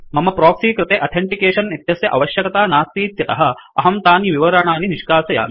मम प्रोक्सि कृते अथेंटिकेशन् इत्यस्य आवश्यकता नास्तीत्यतः अहं तानि विवरणानि निष्कासयामि